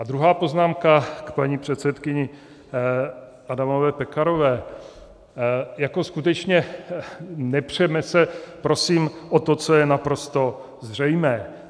A druhá poznámka - k paní předsedkyni Adamové Pekarové: Jako skutečně nepřeme se prosím o to, co je naprosto zřejmé.